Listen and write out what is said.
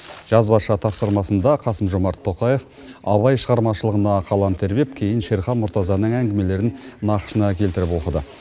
жазбаша тапсырмасында қасым жомарт тоқаев абай шығармашылығына қалам тербеп кейін шерхан мұртазаның әңгімелерін нақышына келтіріп оқыды